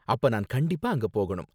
அப்ப நான் கண்டிப்பா அங்க போகணும்.